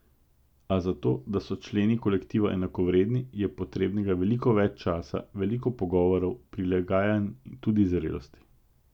A za to, da so členi kolektiva enakovredni, je potrebnega veliko več časa, veliko pogovorov, prilagajanj, tudi zrelosti.